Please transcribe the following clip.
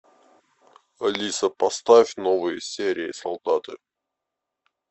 алиса поставь новые серии солдаты